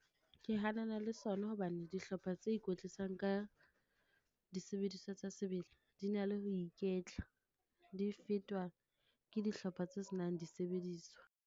Ke hanana le sona hobane dihlopha tse ikwetlisang ka disebediswa tsa sebele, di na le ho iketla. Di fetwa ke dihlopha tse senang disebediswa.